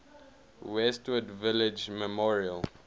westwood village memorial